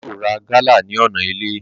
Bàbá yóò ra gálà ní ọ̀nà ilé